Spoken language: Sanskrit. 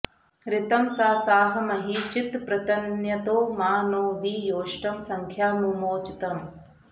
ऋ॒तं सा॑साह॒ महि॑ चित्पृतन्य॒तो मा नो॒ वि यौ॑ष्टं स॒ख्या मु॒मोच॑तम्